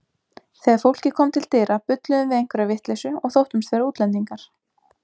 Þegar fólkið kom til dyra bulluðum við einhverja vitleysu og þóttumst vera útlendingar.